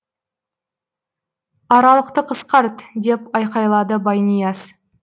аралықты қысқарт деп айқайлады байнияз